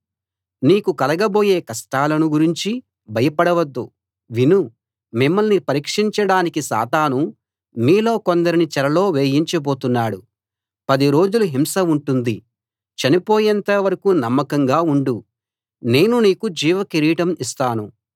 నీకు కలగబోయే కష్టాలను గురించి భయపడవద్దు విను మిమ్మల్ని పరీక్షించడానికి సాతాను మీలో కొందరిని చెరలో వేయించబోతున్నాడు పది రోజులు హింస ఉంటుంది చనిపోయేంత వరకూ నమ్మకంగా ఉండు నేను నీకు జీవ కిరీటం ఇస్తాను